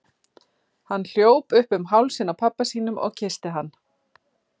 Hann hljóp upp um hálsinn á pabba sínum og kyssti hann.